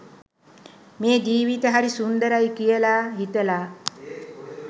මේ ජීවිත හරි සුන්දරයි කියලා හිතලා